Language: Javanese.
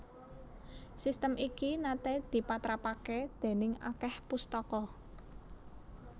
Sistem iki naté dipatrapaké déning akèh pustaka